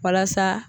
Walasa